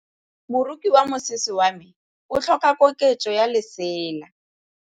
Moroki wa mosese wa me o tlhoka koketsô ya lesela.